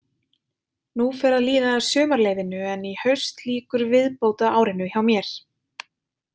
Nú fer að líða að sumarleyfinu en í haust lýkur viðbótaárinu hjá mér.